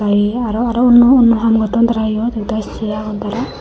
indi aro aro onno haam gotton tara iyot ekdagi sey agon tara.